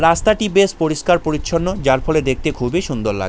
রাস্তাটি বেশ পরিষ্কার-পরিচ্ছন্ন যার ফলে দেখতে খুবই সুন্দর লা--